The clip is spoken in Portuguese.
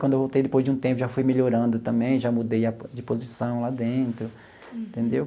Quando voltei, depois de um tempo, já fui melhorando também, já mudei a po de posição lá dentro, entendeu?